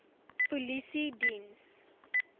polisiediens